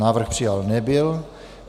Návrh přijat nebyl.